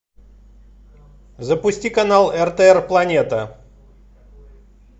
запусти канал ртр планета